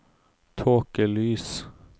tåkelys